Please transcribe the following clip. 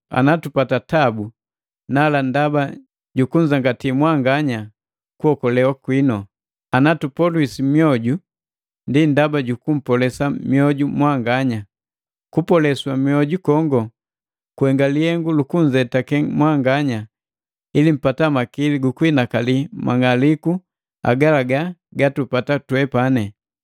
Ana tupatatabu nala ndaba jukunzangati mwanganya kuokolewa gwinu. Anatupoliswi mioju ndi ndaba juku mpolesa mioju mwanganya. Kupolesa mwoju kongo kuhenga lihengu luku nzetake mwanganya ili mpata makili gukuinakali mang'aliku agalaga gatupata twepani.